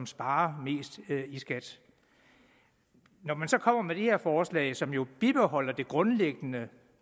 sparer mest i skat når man så kommer med det her forslag som jo bibeholder det grundlæggende